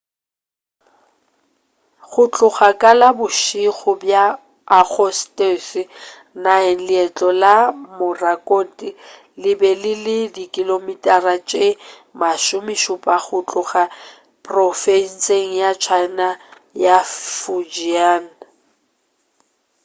go tloga ka la bošego bja agostose 9 leihlo la morakot le be le le dikilomitara tše masomešupa go tloga profenseng ya china ya fujian